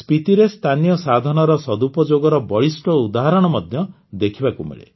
ସ୍ପିତିରେ ସ୍ଥାନୀୟ ସାଧନର ସଦୁପଯୋଗର ବଳିଷ୍ଠ ଉଦାହରଣ ମଧ୍ୟ ଦେଖିବାକୁ ମିଳେ